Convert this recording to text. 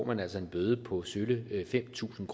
man altså en bøde på sølle fem tusind